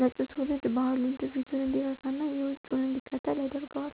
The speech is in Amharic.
መጪው ትውልድ ባህሉን፣ ትውፊቱን እንዲረሳና የውጩን እንዲከተል ያደርገዋል።